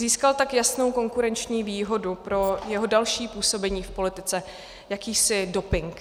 Získal tak jasnou konkurenční výhodu pro své další působení v politice, jakýsi doping.